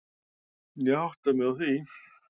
Ég átta mig á því.